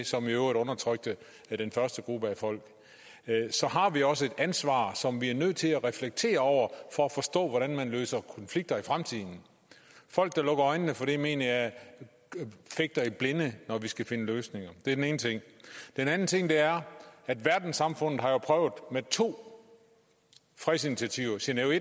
som i øvrigt undertrykte den første gruppe af folk så har vi også et ansvar som vi er nødt til at reflektere over for at forstå hvordan man løser konflikter i fremtiden folk der lukker øjnene for det mener jeg fægter i blinde når de skal finde løsninger det er den ene ting den anden ting er at verdenssamfundet jo har prøvet med to fredsinitiativer genève i